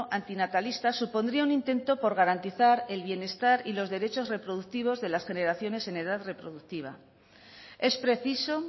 antinatalista supondría un intento de garantizar el bienestar y los derechos reproductivos de las generaciones en edad reproductiva es preciso